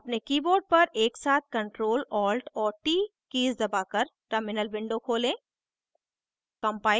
अपने keyboard पर एकसाथ ctrl alt और t कीज़ दबाकर terminal window खोलें